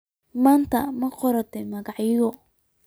Maanta ma qortay magacyo?